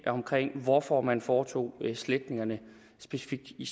omkring hvorfor man foretog sletningerne specifikt i